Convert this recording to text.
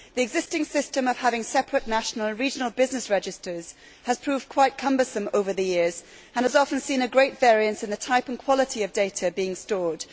The existing system of having separate national regional business registers has proved quite cumbersome over the years and has often seen a great variance in the type and quality of data being stored.